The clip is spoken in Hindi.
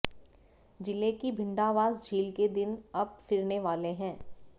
जिले की भिंडावास झील के दिन अब फिरने वाले हैं